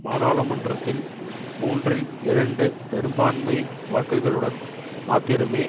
பாராளுமன்றத்தில் மூன்றில் இரண்டு பெரும்பான்மை வாக்குகளுடன் மாத்திரமே